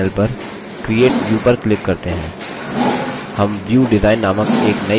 दायें panel पर create view पर click करते हैं